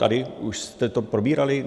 Tady už jste to probírali?